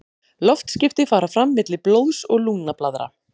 Loftskipti fara fram milli blóðs og lungnablaðra.